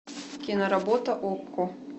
киноработа окко